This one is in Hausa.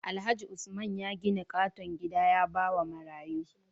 Alhaji usman ya gidan katon gida yabawa marayu